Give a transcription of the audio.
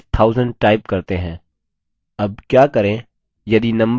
अब क्या करें यदि number के आगे rupee का चिन्ह लिखना है